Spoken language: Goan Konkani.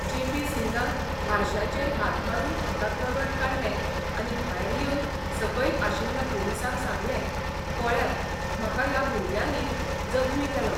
जे पी सिंगान हारशाचेर हात मारून हाताक रगत काडलें आनी भायर येवन सकयल आशिल्ल्या पुलिसांक सांगलेंः 'पळ्यात, म्हाका ह्या भुरण्यांनी जखमी केलो.